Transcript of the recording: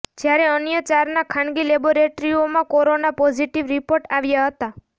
જ્યારે અન્ય ચારના ખાનગી લેબોરેટરીઓમાં કોરોના પોઝિટિવ રિપોર્ટ આવ્યા હતા